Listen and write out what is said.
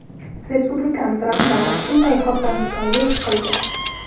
Respublikamiz rahbari shunday hotamtoylik qildi.